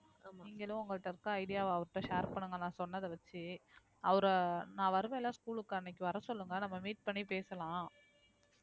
ஆமா நீங்களும் உங்ககிட்ட இருக்க idea வை அவர்கிட்ட share பண்ணுங்க நான் சொன்னதை வச்சு அவர நான் வருவேன்ல school க்கு அன்னைக்கு வரச் சொல்லுங்க நம்ம meet பண்ணி பேசலாம்